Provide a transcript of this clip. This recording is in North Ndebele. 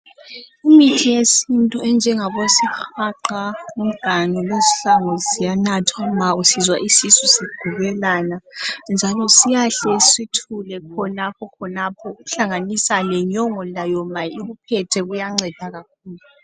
Kumithi yesiNtu enjengabozihaqa, umganu lezihlangu ziyanathwa nxa usizwa isisu ukugubelana njalo siyahle sithule khonapho khonapho ukuhlanganisela lenyongo ziyanceda kakhulu.